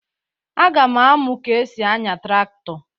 Aga m amụ ka e si anya traktọ.